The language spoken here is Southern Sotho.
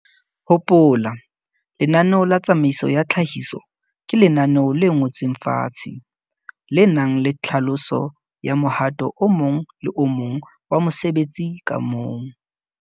Hopola, lenaneo la tsamaiso ya tlhahiso ke lenaneo le ngotsweng fatshe, le nang le tlhaloso ya mohato o mong le o mong wa mosebetsi ka mong.